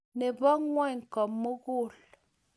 Ne bo ng'ony ko-mugul.